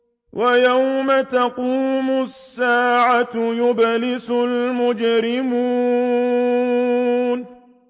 وَيَوْمَ تَقُومُ السَّاعَةُ يُبْلِسُ الْمُجْرِمُونَ